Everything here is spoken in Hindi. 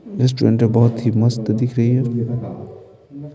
रेस्टोरेंट तो बोहोत ही मस्त दिख रही है।